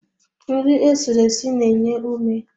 Nri esiri esi na-enye ume